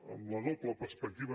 amb la doble perspectiva